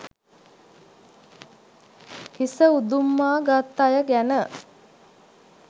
හිස උදුම්මා ගත් අය ගැන